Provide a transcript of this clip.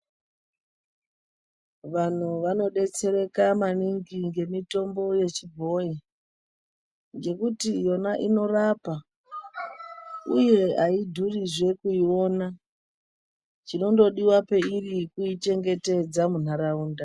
Vantu vanobetsereka maningi ngemitombo yechibhoi. Ngekuti yona inorapa, uye haidhurizve kuiona chinongodiva pairi kuichengetedza munharaunda.